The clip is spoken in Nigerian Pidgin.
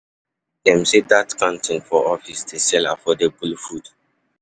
Dem sey dat canteen for office dey sell affordable food.